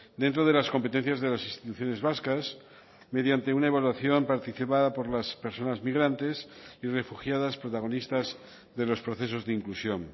dentro de las competencias de las instituciones vascas mediante una evaluación participada por las personas migrantes y refugiadas protagonistas de los procesos de inclusión